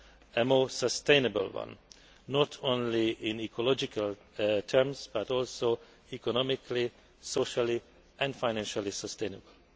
a more sustainable one, not only in ecological terms but also economically, socially and financially sustainable.